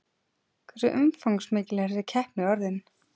Hversu umfangsmikil er þessi keppni orðin?